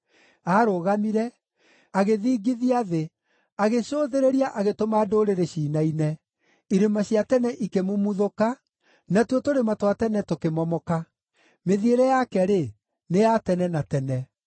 Aarũgamire, agĩthingithia thĩ; agĩcũthĩrĩria agĩtũma ndũrĩrĩ ciinaine. Irĩma cia tene ikĩmumuthũka, natuo tũrĩma twa tene tũkĩmomoka. Mĩthiĩre yake-rĩ, nĩ ya tene na tene.